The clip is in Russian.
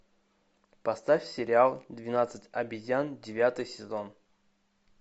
поставь сериал двенадцать обезьян девятый сезон